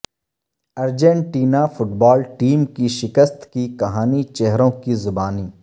Argentina football team کی شکست کی کہانی چہروں کی زبانی